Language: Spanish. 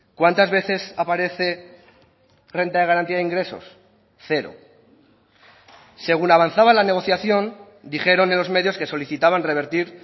cuántas veces aparece renta de garantía de ingresos cero según avanzaba la negociación dijeron en los medios que solicitaban revertir